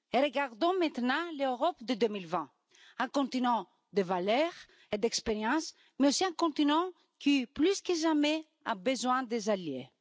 Regardons maintenant l'Europe de 2020 un continent de valeurs et d'expérience, mais aussi un continent qui, plus que jamais, a besoin d'alliés.